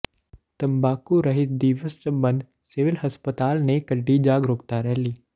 ਤੰਬਾਕੂ ਰਹਿਤ ਦਿਵਸ ਸਬੰਧ ਸਿਵਲ ਹਸਪਤਾਲ ਨੇ ਕੱਢੀ ਜਾਗਰੂਕਤਾ ਰੈਲੀ